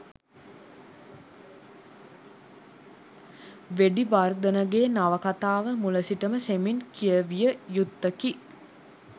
වෙඩිවර්ධනගේ නවකතාව මුල සිටම සෙමෙන් කියවිය යුත්තකි.